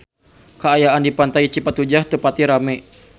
Kaayaan di Pantai Cipatujah teu pati rame